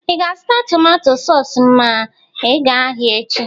Ị ga- azụta tomato sọs ma ị ga ahia echi?